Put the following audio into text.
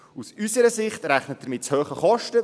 Aus unserer Sicht rechnet er mit zu hohen Kosten.